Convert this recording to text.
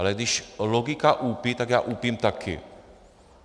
Ale když logika úpí, tak já úpím taky.